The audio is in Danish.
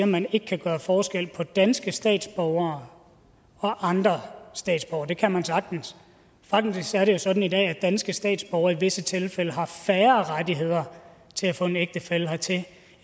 man ikke kan gøre forskel på danske statsborgere og andre statsborgere det kan man sagtens faktisk er det jo sådan i dag at danske statsborgere i visse tilfælde har færre rettigheder til at få en ægtefælle hertil